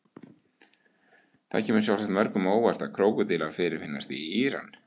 Það kemur sjálfsagt mörgum á óvart að krókódílar fyrirfinnast í Íran.